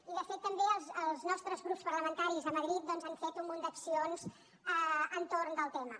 i de fet també els nostres grups parlamentaris a madrid doncs han fet un munt d’accions entorn del tema